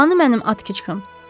Hanı mənim Atkiçım?